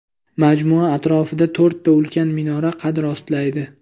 Majmua atrofida to‘rtta ulkan minora qad rostlaydi.